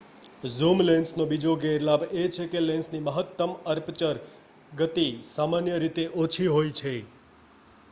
zoom લેન્સનો બીજો ગેરલાભ એ છે કે લેન્સની મહત્તમ અપર્ચર ગતિ સામાન્ય રીતે ઓછી હોય છે